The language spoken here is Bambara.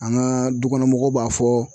An ka dukɔnɔmɔgɔw b'a fɔ